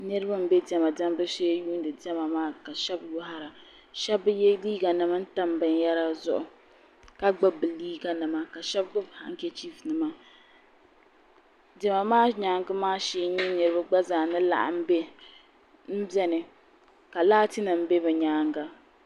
Niribi n bɛ dɛma dɛbu shee n yuni dɛma maa shɛb bi yɛ liiganima n tam binyɛra zuɣu ka gbubi bɛ liiganima ka shɛb gbubi hankachifunima dɛma maa nyaaŋa maa shee n nyɛ niriba gba zaa ni laɣim bɛ n bɛni ka laatinim bɛ bi nyaanga